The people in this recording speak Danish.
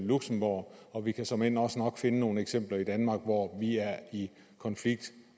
luxembourg og vi kan såmænd også nok finde nogle eksempler i danmark hvor vi er i konflikt